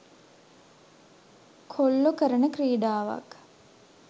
කොල්ලෝ කරන ක්‍රීඩාවක්.